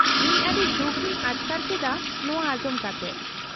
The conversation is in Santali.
-ᱤᱧ ᱟᱹᱰᱤ ᱫᱩᱠ ᱤᱧ ᱟᱴᱠᱟᱨ ᱠᱮᱫᱟ ᱱᱚᱶᱟ ᱟᱸᱡᱚᱢ ᱠᱟᱛᱮ ᱾